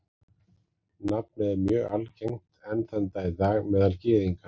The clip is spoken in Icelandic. Nafnið er mjög algengt enn þann dag í dag meðal Gyðinga.